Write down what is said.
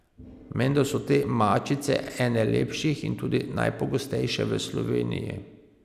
Menda so te mačice ene lepših in tudi najpogostejše v Sloveniji.